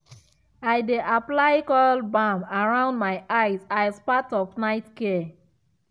i dey apply cule balm around my eye as part of night care.